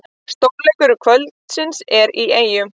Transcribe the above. Stórleikur kvöldsins er í Eyjum